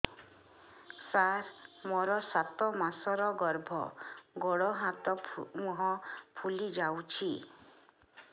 ସାର ମୋର ସାତ ମାସର ଗର୍ଭ ଗୋଡ଼ ହାତ ମୁହଁ ଫୁଲି ଯାଉଛି